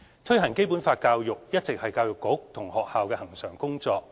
推行《基本法》教育一直是教育局及學校恆常的工作。